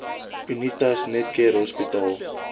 unitas netcare hospitaal